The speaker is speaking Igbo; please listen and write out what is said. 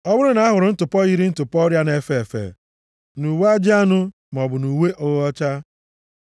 “Ọ bụrụ na a hụrụ ntụpọ yiri ntụpọ ọrịa na-efe efe nʼuwe ajị anụ maọbụ nʼuwe ogho ọcha,